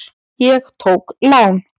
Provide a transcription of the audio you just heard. Ég tók lán.